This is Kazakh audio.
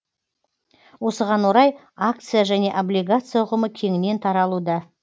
осыған орай акция және облигация ұғымы кеңінен таралуда